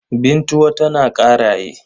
Bintuwa tana Ƙaraye.